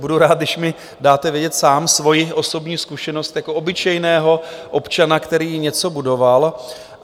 Budu rád, když mi dáte vědět sám svoji osobní zkušenost jako obyčejného občana, který něco budoval.